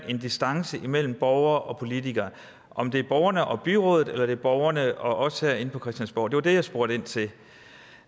en distance mellem borgere og politikere om det er borgerne og byrådet eller det er borgerne og os herinde på christiansborg det var det jeg spurgte ind til